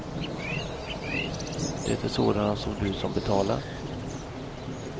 Det är sådana som du som betalar.